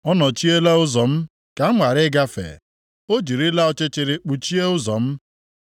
Ọ nọchiela ụzọ m ka m ghara ịgafe; o jirila ọchịchịrị kpuchie ụzọ m.